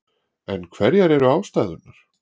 En hverjar eru ástæðurnar?